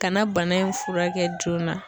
Ka na bana in furakɛ joona